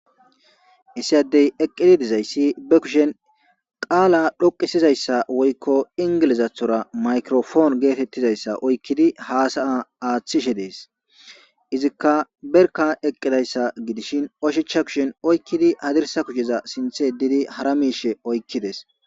issi addey eqqidi dizayssi be kushen qaala dhoqisizayssa woykko ingilizathora maykrofoon geetettizayssa oykkidi haasaya aaththishe dees izikka berka eqqidayssa gidishin oshicha kushen oykkidi hadirsa kusheza sinthe didi hara miishe oykkides